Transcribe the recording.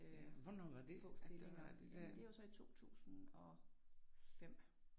Øh få stillinger og det var så i 2005